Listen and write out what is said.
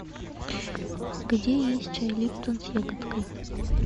где есть чай липтон с ягодкой